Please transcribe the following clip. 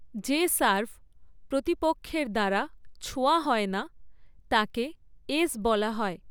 যে সার্ভ প্রতিপক্ষের দ্বারা ছোঁয়া হয় না, তাকে ‘এস’ বলা হয়।